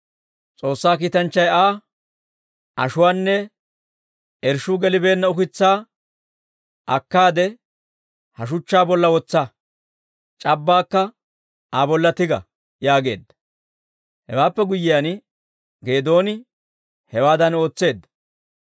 S'oossaa kiitanchchay Aa, «Ashuwaanne irshshuu gelibeenna ukitsaa akkaade, ha shuchchaa bolla wotsa; c'abbaakka Aa bolla tiga» yaageedda; hewaappe guyyiyaan Geedooni hewaadan ootseedda.